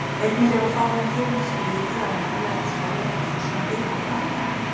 Einnig lifa fáeinar tegundir skriðdýra á norðlægum slóðum í Rússlandi og Kanada.